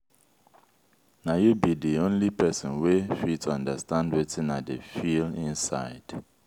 na you be di only person wey fit understand wetin i dey feel inside.